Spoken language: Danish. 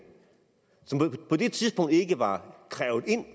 som på det tidspunkt ikke var krævet ind